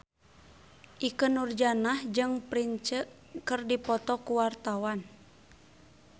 Ikke Nurjanah jeung Prince keur dipoto ku wartawan